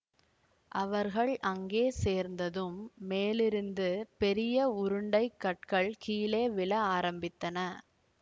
அவர்கள் அங்கே சேர்ந்ததும் மேலிருந்து பெரிய உருண்டைக் கற்கள் கீழே விழ ஆரம்பித்தன